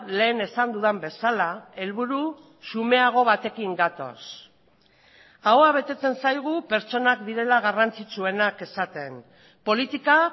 lehen esan dudan bezala helburu xumeago batekin gatoz ahoa betetzen zaigu pertsonak direla garrantzitsuenak esaten politika